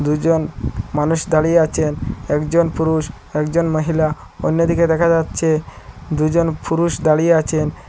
দুইজন মানুষ দাঁড়িয়ে আছেন একজন পুরুষ একজন মহিলা অন্যদিকে দেখা যাচ্ছে দুজন ফুরুষ দাঁড়িয়ে আছেন।